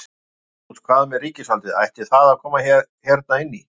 Magnús: Hvað með ríkisvaldið, ætti það að koma hérna inn í?